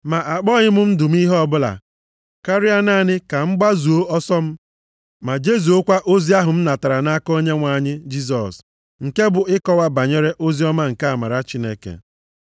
Ma akpọghị m ndụ m ihe ọbụla. Karịa naanị ka m gbazuo ọsọ m ma jezuokwa ozi ahụ m natara nʼaka Onyenwe anyị Jisọs, nke bụ ịkọwa banyere oziọma nke amara Chineke.